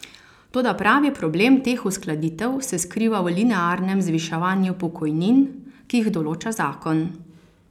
Toda pravi problem teh uskladitev se skriva v linearnem zviševanju pokojnin, ki jih določa zakon.